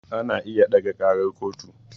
Ana iya ɗaga ƙarar kotu